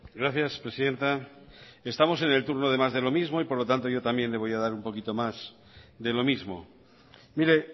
gracias presidenta estamos en el turno de más de lo mismo y por lo tanto yo también le voy a dar un poquito más de lo mismo mire